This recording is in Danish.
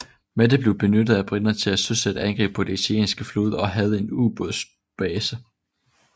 Malta blev benyttet af briterne til at søsætte angreb på den italienske flåde og havde en ubådsbase